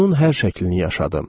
Onun hər şəklini yaşadım.